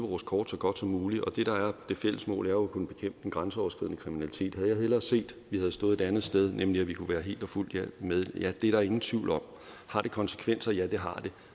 vores kort så godt som muligt og det fælles mål er jo at kunne bekæmpe den grænseoverskridende kriminalitet havde jeg hellere set at vi havde stået et andet sted nemlig at vi kunne være helt og fuldt med ja det er der ingen tvivl om har det konsekvenser ja det har det